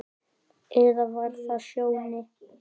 Eða var það Sjóni?